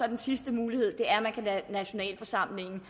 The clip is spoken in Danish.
den sidste mulighed er at man kan lade nationalforsamlingen